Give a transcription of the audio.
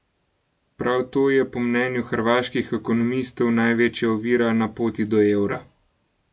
Prav to je po mnenju hrvaških ekonomistov največja ovira na poti do evra.